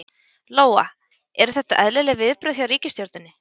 Lóa: Eru þetta eðlileg viðbrögð hjá ríkisstjórninni?